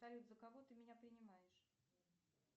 салют за кого ты меня принимаешь